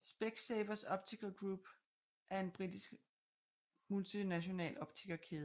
Specsavers Optical Group Ltd er en britisk multinational optikerkæde